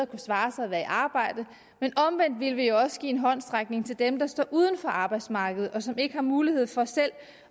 kunne svare sig at være i arbejde men omvendt ville vi jo også give en håndsrækning til dem der står uden for arbejdsmarkedet og som ikke har mulighed for selv